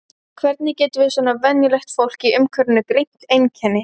Hvernig getum við svona venjulegt fólk í umhverfinu greint einkenni?